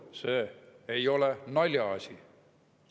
See ei ole naljaasi.